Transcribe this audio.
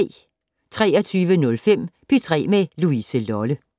23:05: P3 med Louise Lolle